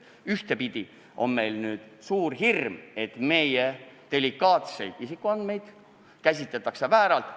Ühtepidi on meil nüüd suur hirm, et meie delikaatseid isikuandmeid kasutatakse vääralt.